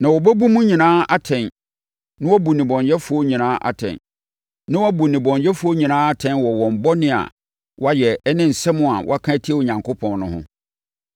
na wɔabɛbu mo nyinaa atɛn na wɔabu nnebɔneyɛfoɔ nyinaa atɛn wɔ wɔn bɔne a wɔayɛ ne nsɛm a wɔaka atia Onyankopɔn no ho.”